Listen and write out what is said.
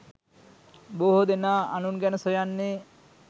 බොහෝ දෙනා අනුන් ගැන සොයන්නේ